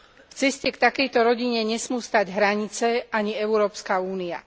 V ceste k takejto rodine nesmú stáť hranice ani Európska únia.